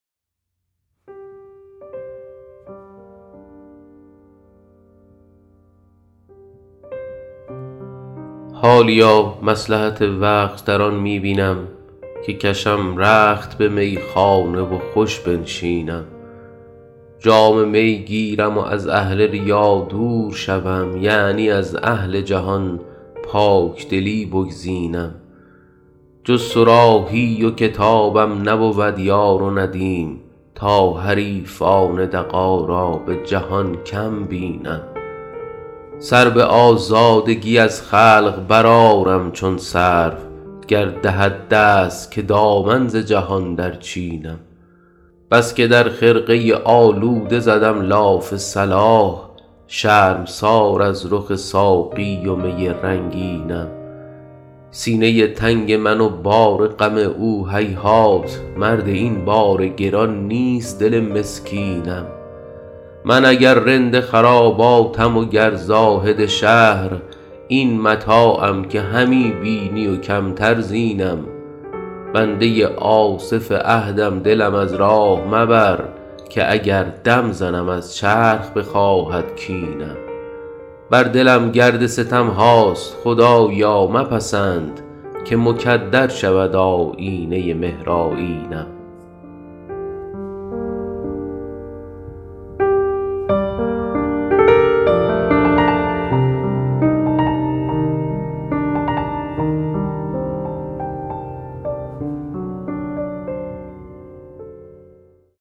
حالیا مصلحت وقت در آن می بینم که کشم رخت به میخانه و خوش بنشینم جام می گیرم و از اهل ریا دور شوم یعنی از اهل جهان پاکدلی بگزینم جز صراحی و کتابم نبود یار و ندیم تا حریفان دغا را به جهان کم بینم سر به آزادگی از خلق برآرم چون سرو گر دهد دست که دامن ز جهان درچینم بس که در خرقه آلوده زدم لاف صلاح شرمسار از رخ ساقی و می رنگینم سینه تنگ من و بار غم او هیهات مرد این بار گران نیست دل مسکینم من اگر رند خراباتم و گر زاهد شهر این متاعم که همی بینی و کمتر زینم بنده آصف عهدم دلم از راه مبر که اگر دم زنم از چرخ بخواهد کینم بر دلم گرد ستم هاست خدایا مپسند که مکدر شود آیینه مهرآیینم